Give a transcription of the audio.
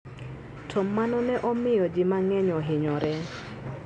To mano ne omiyo ji mang'eny ohinyore.